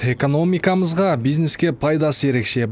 экономикамызға бизнеске пайдасы ерекше